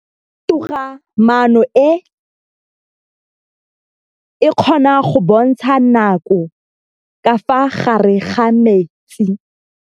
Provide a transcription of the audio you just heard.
Toga-maanô e, e kgona go bontsha nakô ka fa gare ga metsi.